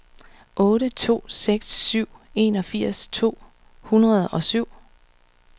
otte to seks syv enogfirs to hundrede og syv